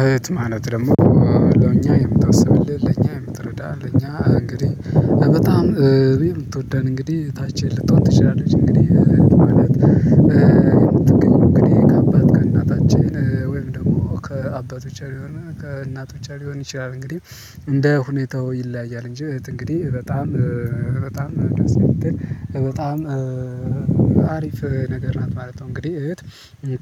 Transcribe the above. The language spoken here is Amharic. እህት ማለት ደግሞ ለእኛ የምታስብልህ፣ ለእኛ የምትረዳህ፣ ለኛ እንግዲህ በጣም የምትወደን እንግዲህ ታች ልትሆን ትችላለች እንግዲህ ትባላት ትገኝ እንግዲህ ከአባት ከእናታችን ወይም ደግሞ ከአባቶቻችን የሆነ ከእናት ብቻ ሊሆን ይችላል እንግዲህ እንደ ሁኔታው ይለያያል እንጂ እህት እንግዲህ በጣም በጣም በጣም አሪፍ ነገር ናት ማለት ነው። እንግዲህ እህት